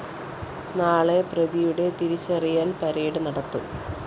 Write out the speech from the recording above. നാളെ പ്രതിയുടെ തിരിച്ചറിയല്‍ പരടെ നടത്തും